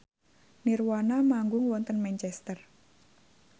nirvana manggung wonten Manchester